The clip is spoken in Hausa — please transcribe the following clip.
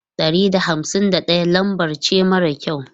Ɗari da hamsin da ɗaya lambar ce mara kyau.